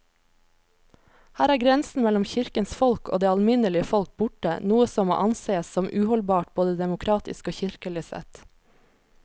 Her er grensen mellom kirkens folk og det alminnelige folk borte, noe som må ansees som uholdbart både demokratisk og kirkelig sett.